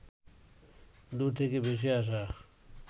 দূর থেকে ভেসে আসা